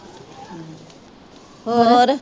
ਹੋਰ